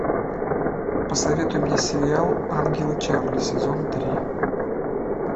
посоветуй мне сериал ангелы чарли сезон три